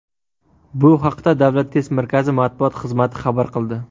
Bu haqda Davlat test markazi axborot xizmati xabar qildi .